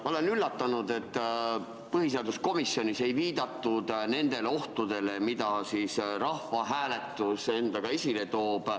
Ma olen üllatunud, et põhiseaduskomisjonis ei viidatud nendele ohtudele, mida rahvahääletus endaga kaasa toob.